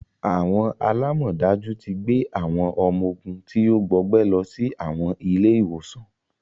Awọn alamọdaju ti gbé awọn ọmọ ogún ti o gbọgbẹ lọ si awọn ile-iwosan